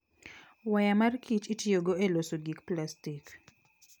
Waya mar Kich itiyogo e loso gik plastik.